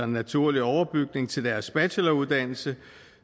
naturlig overbygning til deres bacheloruddannelse